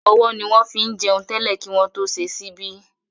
Ọwọ́ ni wọ́n fín jẹun tẹ́lẹ̀ kí wọ́n tó ṣe ṣíbí